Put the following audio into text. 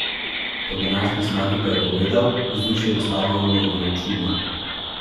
Po današnji zmagi pa je povedal: 'Vzdušje na stadionu je bilo čudno.